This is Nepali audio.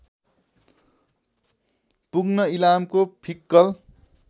पुग्न इलामको फिक्कल